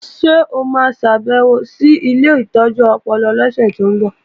Ṣé o ma ṣàbèwò sí ilé ìtọ́jú ọpọlọ lọ́sẹ̀ tó ń bọ̀?